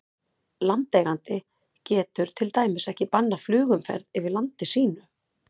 Landeigandi getur til dæmis ekki bannað flugumferð yfir landi sínu.